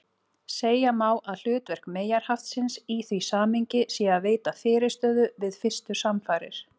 Segja má að hlutverk meyjarhaftsins í því samhengi sé að veita fyrirstöðu við fyrstu samfarir.